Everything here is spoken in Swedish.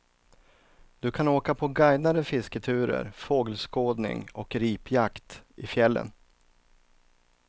Du kan åka på guidade fisketurer, fågelskådning och ripjakt i fjällen.